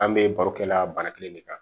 An bɛ baro kɛla bana kelen de kan